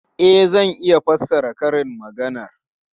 E, zan iya fassara karin maganar.